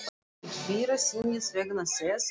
Í fyrra sinnið vegna þess að